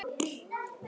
Sindri Besta númer?